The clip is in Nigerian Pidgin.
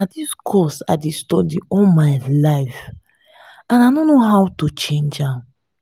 na dis course i dey study all my life and i no know how to change am